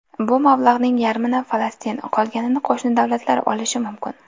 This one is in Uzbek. Bu mablag‘ning yarmini Falastin, qolganini qo‘shni davlatlar olishi mumkin.